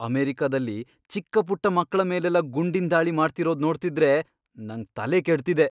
ಅಮೆರಿಕದಲ್ಲಿ ಚಿಕ್ಕಪುಟ್ಟ ಮಕ್ಳ ಮೇಲೆಲ್ಲ ಗುಂಡಿನ್ ದಾಳಿ ಮಾಡ್ತಿರೋದ್ ನೋಡ್ತಿದ್ರೆ ನಂಗ್ ತಲೆಕೆಡ್ತಿದೆ.